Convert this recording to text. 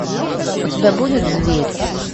у тебя будет зверь